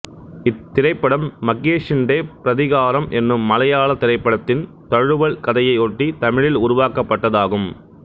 இத்திரைப்படம் மகேஷிண்டே பிரதிகாரம் என்னும் மலையாளத் திரைப்படத்தின் தழுவல் கதையையொட்டி தமிழில் உருவாக்கப்பட்டது ஆகும்